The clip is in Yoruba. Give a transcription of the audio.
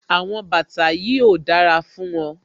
Àwọn bàtà yìí ò dára fún ọ